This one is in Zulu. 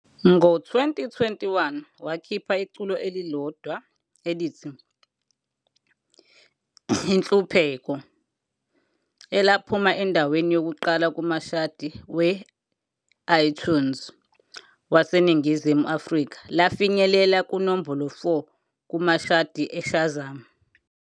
Ngo-2021, wakhipha iculo elilodwa elithi "Inhlupheko", elaphuma endaweni yokuqala kumashadi we-iTunes waseNingizimu Afrika lafinyelela kunombolo 4 kumashadi e-Shazam.